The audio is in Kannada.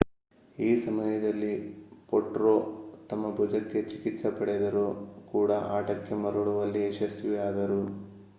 ಈ ಸಮಯದಲ್ಲಿ ಪೊಟ್ರೊ ತಮ್ಮ ಭುಜಕ್ಕೆ ಚಿಕಿತ್ಸೆ ಪಡೆದರೂ ಕೂಡ ಆಟಕ್ಕೆ ಮರಳುವಲ್ಲಿ ಯಶಸ್ವಿಯಾದರು